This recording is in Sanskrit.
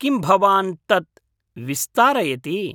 किं भवान् तत् विस्तारयति?